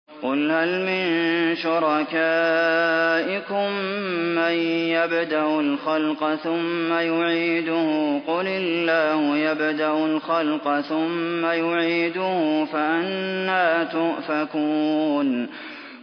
قُلْ هَلْ مِن شُرَكَائِكُم مَّن يَبْدَأُ الْخَلْقَ ثُمَّ يُعِيدُهُ ۚ قُلِ اللَّهُ يَبْدَأُ الْخَلْقَ ثُمَّ يُعِيدُهُ ۖ فَأَنَّىٰ تُؤْفَكُونَ